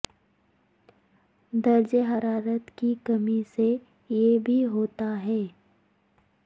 درجہ حرارت کی کمی سے یہ بھی ہوتا ہے